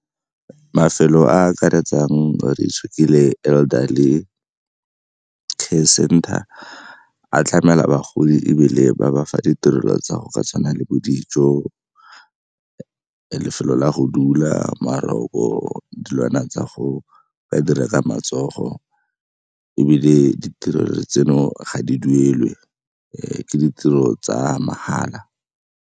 Mafelo a a akaretsang Elderly Care Center a tlamela bagodi ebile ba bafa ditirelo tsa go ka tshwana le bo dijo, lefelo la go dula, , dilwana tsa go dira ka matsogo ebile ditirelo tseno ga di duelwe ke ditiro tsa mahala.